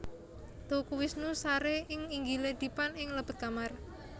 Teuku Wisnu sare ing inggile dipan ing lebet kamar